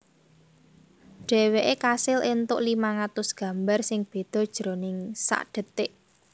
Dhèwèké kasil éntuk limang atus gambar sing béda jroning sadhetik